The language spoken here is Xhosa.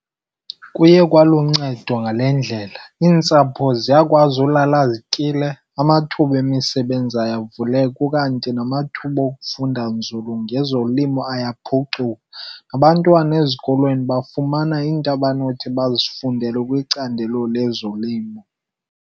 Kuye kwaluncedo ngale ndlela, iintsapho ziyakwazi ulala zityile, amathuba emisebenzi ayavuleka ukanti namathuba okufunda nzulu ngezolimo ayaphucuka. Abantwana ezikolweni bafumana iinto abanothi bazifundele kwicandelo lezolimo.